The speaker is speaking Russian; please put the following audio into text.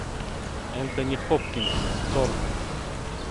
энтони хопкинс тор